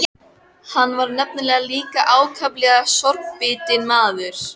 Hann var nefnilega líka ákaflega sorgbitinn maður.